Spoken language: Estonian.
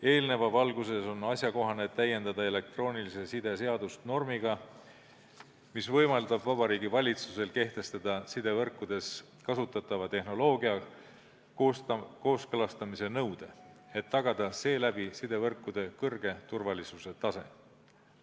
Eelneva valguses on asjakohane täiendada elektroonilise side seadust normiga, mis võimaldab Vabariigi Valitsusel kehtestada sidevõrkudes kasutatava tehnoloogia kooskõlastamise nõude, et tagada seeläbi sidevõrkude kõrge turvalisuse tase.